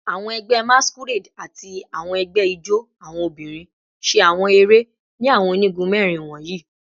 Awọn ẹgbẹ Masquerade ati awọn ẹgbẹ ijó awọn obinrin ṣe awọn ere ni awọn onigun mẹrin wọnyi